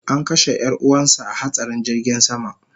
An kashe yar'uwansa a hatsarin jirgin sama